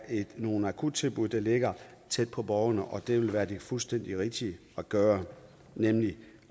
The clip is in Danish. nogle akuttilbud der ligger tæt på borgerne og det vil være det fuldstændig rigtige at gøre nemlig